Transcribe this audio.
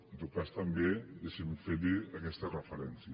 en tot cas també deixi’m fer li aquesta referència